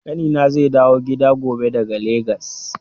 Ƙanina zai dawo gida gobe daga Legas.